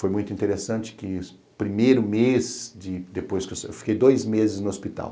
Foi muito interessante que, no primeiro mês, depois que, eu fiquei dois meses no hospital.